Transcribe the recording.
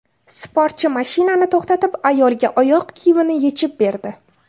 Sportchi mashinani to‘xtatib, ayolga oyoq kiyimini yechib berdi.